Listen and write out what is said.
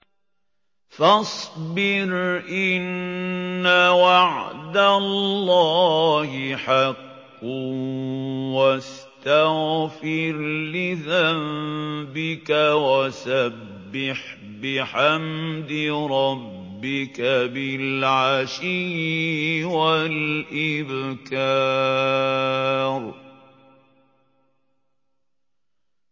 فَاصْبِرْ إِنَّ وَعْدَ اللَّهِ حَقٌّ وَاسْتَغْفِرْ لِذَنبِكَ وَسَبِّحْ بِحَمْدِ رَبِّكَ بِالْعَشِيِّ وَالْإِبْكَارِ